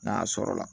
N'a sɔrɔla